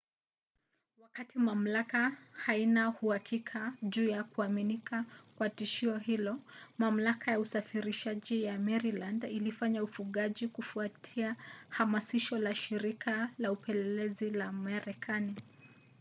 wakati mamlaka haina uhakika juu ya kuaminika kwa tishio hilo mamlaka ya usafirishaji ya maryland ilifanya ufungaji kufuatia hamasisho la shirika la upelelezi la marekani